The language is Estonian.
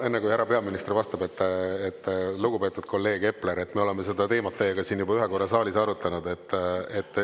Enne kui härra peaminister vastab, lugupeetud kolleeg Epler, me oleme seda teemat teiega siin juba ühe korra saalis arutanud.